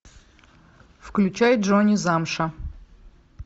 включай джонни замша